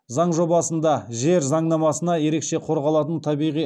заң жобасында жер заңнамасына ерекше қорғалатын табиғи